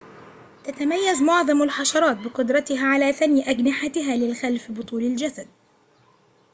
تتميّز معظمُ الحشراتِ بقُدرتها على ثَني أجنحتِها للخلفِ بطولِ الجسدِ